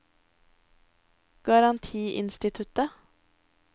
garantiinstituttet